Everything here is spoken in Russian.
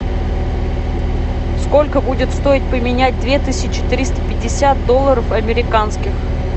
сколько будет стоить поменять две тысячи триста пятьдесят долларов американских